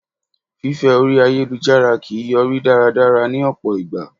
Fífẹ́ orí ayélujára kìí yọrí dáradára ní ọ̀pọ̀ ìgbà.